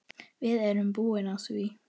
Við erum búin á því.